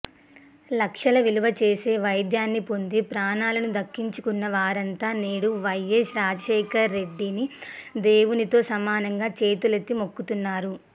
లక్షల విలువ చేసే వైద్యాన్ని పొంది ప్రాణాలను దక్కించుకున్న వారంతా నేడు వైఎస్ రాజశేఖరరెడ్డిని దేవునితో సమానంగా చేతులెత్తి మొక్కుతున్నారు